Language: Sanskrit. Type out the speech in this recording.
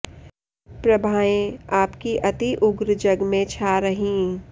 प्रभाएँ आपकी अति उग्र जग में छा रहीं